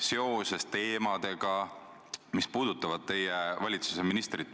Kui neid ei ole, siis tuleb see väide tal ümber lükata.